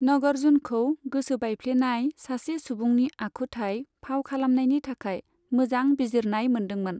नगर्जुनखौ गोसोबायफ्लेनाय सासे सुबुंनि आखुथाय फाव खालामनायनि थाखाय मोजां बिजिरनाय मोन्दोंमोन।